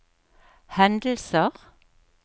hendelser